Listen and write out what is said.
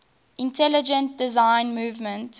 intelligent design movement